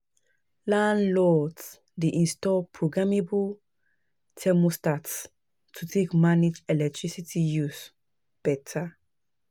Landlords dey install programmable thermostats to take manage electricity use beta.